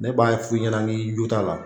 Ne b'a f'i ɲɛna n k'i jot'a la